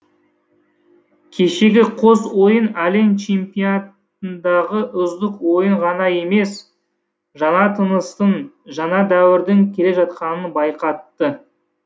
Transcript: кешегі қос ойын әлем чемпионатындағы үздік ойын ғана емес жаңа тыныстың жаңа дәуірдің келе жатқанын байқатты